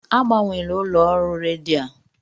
Agbanwela ụlọ ọrụ redio a!